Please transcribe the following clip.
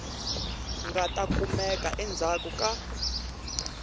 nga ta kumeka endzhaku ka